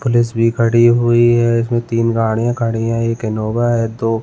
police भी खड़ी हुई है इसमें तिन गाड़ियाँ खड़ी है एक इनोवा है दो --